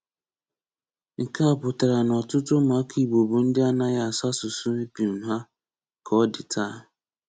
Nke a pụtara na ọ̀tụ̀tụ̀ ụmụ́aka Ìgbò bụ́ ndị ànàghị asụ̀ asụ̀sụ́ épum hà ka ọ dị tàà.